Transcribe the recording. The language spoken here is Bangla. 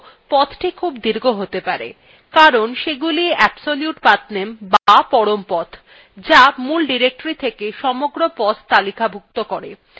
এইক্ষেত্রে সমস্যা হল পথটি খুব দীর্ঘ হতে পারে কারণ এগুলি হল absolute pathname be পরম path the মূল directory থেকে সমগ্র path তালিকাভুক্ত করে